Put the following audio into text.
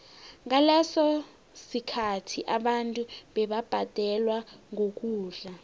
ngaleso sikhathi abantu bebabhadelwa ngokudla